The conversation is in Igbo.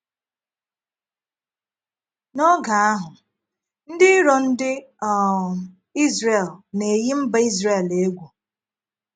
N’ógè ahụ́, ndị ìrò ndị um Izrel na - eyi mba Izrel égwú.